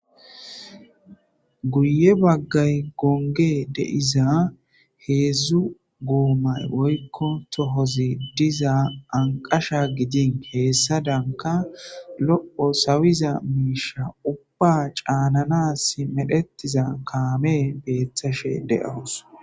guye baggay goonge de'iza heedzdzu goomay oykko tohozi diza anqasha gidin heessa danka lo7o sawiza miisha ubba caanana s medhetiza kaame beethashe de7oos